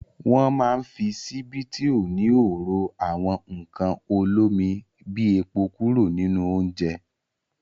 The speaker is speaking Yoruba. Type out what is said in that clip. Wọ́ máa ń fi ṣíbí tí ó níhò ro àwọn nǹkan olómi bí epo kúrò nínú oúnjẹ.